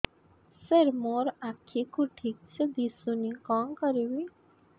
ସାର ମୋର ଆଖି କୁ ଠିକସେ ଦିଶୁନି କଣ କରିବି